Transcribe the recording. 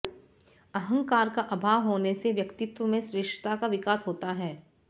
अहंकार का अभाव होने से व्यक्तित्व में श्रेष्ठता का विकास होता है